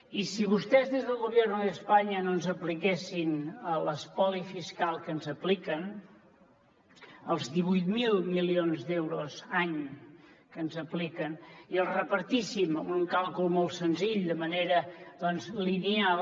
i si vostès des del gobierno de españa no ens apliquessin l’espoli fiscal que ens apliquen els divuit mil milions d’euros any que ens apliquen i els repartíssim amb un càlcul molt senzill de manera lineal